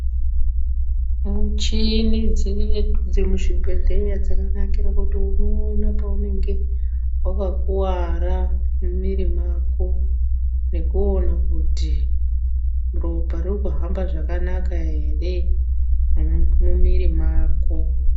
Michini dzedu dzemuzvibhedhlera dzakanakira kuti unoona paunemge wakakuvara muviri mako nekuona kuti ropa riri kuhamba zvakanaka here mumuviri mako.